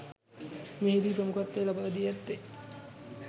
මෙහිදී ප්‍රමුඛත්වය ලබා දී ඇත්තේ